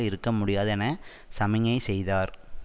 இருக்க முடியாது என சமிஞை செய்தார்